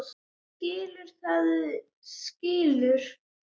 Fólk sem skilur, það skilur.